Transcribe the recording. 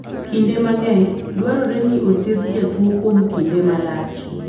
Kinde mang'eny, dwarore ni othiedh jatuo kuom kinde malach.